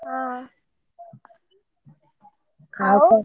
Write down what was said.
ହଁ ଆଉ,